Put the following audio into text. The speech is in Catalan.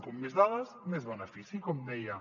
com més dades més benefici com deia